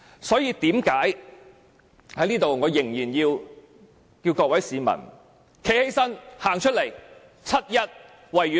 所以，我仍然要求各位市民走出來，七一維園見。